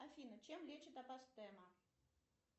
афина чем лечат апостема